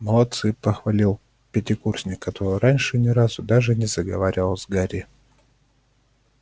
молодцы похвалил пятикурсник который раньше ни разу даже не заговаривал с гарри